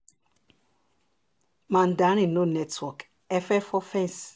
mandarin no network e fe fọ fence